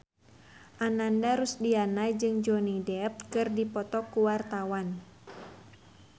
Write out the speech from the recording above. Ananda Rusdiana jeung Johnny Depp keur dipoto ku wartawan